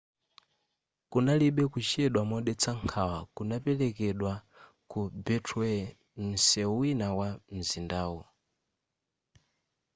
kunalibe kuchedwa modetsa nkhawa kunaperekedwa ku beltway nseu wina wa nzindawu